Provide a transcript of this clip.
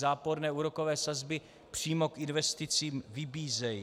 Záporné úrokové sazby přímo k investicím vybízejí.